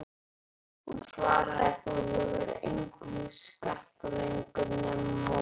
Hún svaraði: Þú hefur fyrir engum að skarta lengur nema moldinni.